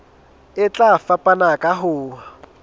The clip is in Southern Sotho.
e tla fapana ka ho